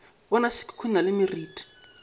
bona se khukhuna le meriti